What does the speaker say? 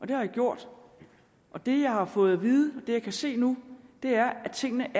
det har jeg gjort og det jeg har fået at vide og det jeg kan se nu er at tingene